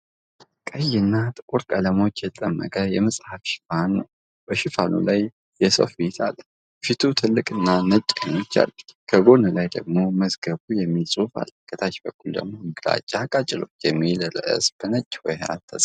ቀይ እና ጥቁር ቀለሞችን የተጠቀመ የመጽሃፍ ሽፋን ነው፣ በሽፋኑ ላይ የሰው ፊት አለ። ፊቱ ትልቅና ነጭ ዓይኖች አሉት፤ ከጎን ላይ ደግሞ "መዝገቡ" የሚል ጽሑፍ አለ። ከታች በኩል ደግሞ "ግራጫ ቃጭሎች" የሚል ርዕስ በነጭ ሆሄያት ተጽፏል።